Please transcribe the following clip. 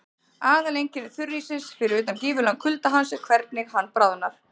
Aðaleinkenni þurríssins, fyrir utan gífurlegan kulda hans, er hvernig hann bráðnar.